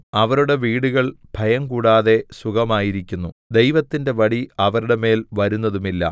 അവരുടെ വീടുകൾ ഭയംകൂടാതെ സുഖമായിരിക്കുന്നു ദൈവത്തിന്റെ വടി അവരുടെ മേൽ വരുന്നതുമില്ല